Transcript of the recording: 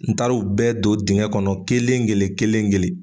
N taar'o bɛɛ ton dingɛ kɔnɔ kelen kelen kelen-kelen